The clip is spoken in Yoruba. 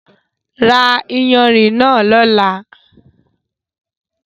Rá ìyánrín náà lọla!